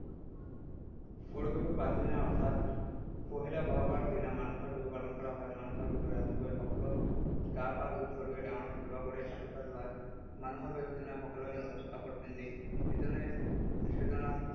গৰু বিহুৰ পাছদিনা অৰ্থাৎ পহিলা ব’হাগৰ দিনা মানুহৰ বিহু পালন কৰা হয়। মানুহৰ বিহুত ৰাতিপুৱাই সকলোৱে গা-পা ধুই সৰুৱে ডাঙৰক সেৱা কৰি আৰ্শীবাদ লয়। মানুহৰ বিহুৰ দিনা সকলোৱে নতুন কাপোৰ পিন্ধি ইজনে সিজনক